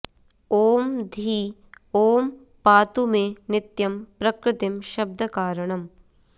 ॐ धी ॐ पातु मे नित्यं प्रकृतिं शब्दकारणम्